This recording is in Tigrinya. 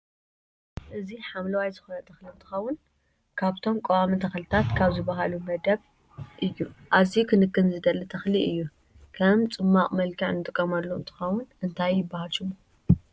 ኣዝዩ ሓምለዋይ ዝኮነ ተክሊ እንትከውን ካብቶም ቀዋሚ ተክልታት ካብ ዝብሃሉ መደብ እዩ። ኣዝዩ ክንክን ዝደሊ ተክሊ እዩ። ከም ፅማቅ መልክዕ ንጥቀመሉ እንትከውን እንታይ ይብሃል ሽሙ?